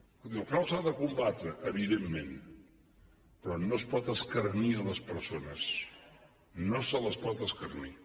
escolti el frau s’ha de combatre evidentment però no es pot escarnir les persones no se les pot escarnir